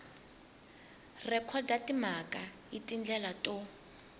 rhekhoda timhaka hi tindlela to